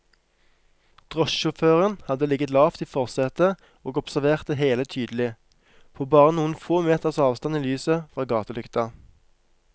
Drosjesjåføren hadde ligget lavt i forsetet og observert det hele tydelig, på bare noen få meters avstand i lyset fra gatelykta.